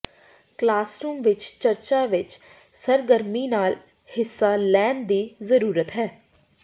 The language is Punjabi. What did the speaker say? ਕਲਾਸਰੂਮ ਵਿੱਚ ਚਰਚਾ ਵਿੱਚ ਸਰਗਰਮੀ ਨਾਲ ਹਿੱਸਾ ਲੈਣ ਦੀ ਜ਼ਰੂਰਤ ਹੈ